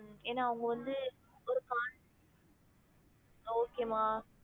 ஏனா அவங்க வந்து ஒரு cont~ okay மா